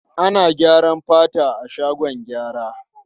Ana gyara fata a shagon gyara.